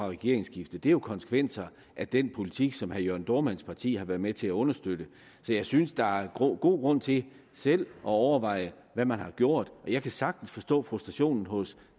regeringsskiftet det er jo konsekvenser af den politik som herre jørn dohrmanns parti har været med til at understøtte så jeg synes der er god grund til selv at overveje hvad man har gjort jeg kan sagtens forstå frustrationen hos